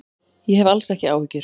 Ég hef alls ekki áhyggjur.